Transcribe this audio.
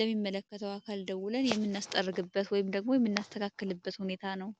ለሚመለከተው አካል ደውለን የሚናስጠርግበት ወይም ደግሞ የሚናስተካከልበት ሁኔታ ነው።